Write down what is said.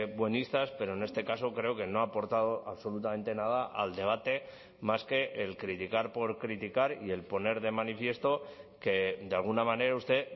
buenistas pero en este caso creo que no ha aportado absolutamente nada al debate más que el criticar por criticar y el poner de manifiesto que de alguna manera usted